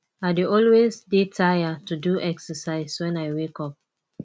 i dey always dey tired to do exercise wen i wake up